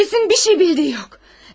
Polisin bir şey bildiyi yox.